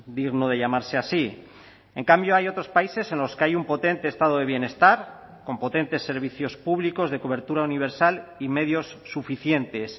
digno de llamarse así en cambio hay otros países en los que hay un potente estado de bienestar con potentes servicios públicos de cobertura universal y medios suficientes